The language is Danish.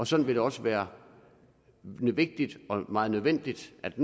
sådan vil det også være vigtigt og meget nødvendigt at